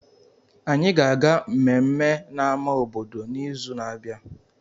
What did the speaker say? Anyị ga-aga mmemme na ama obodo n'izu na-abịa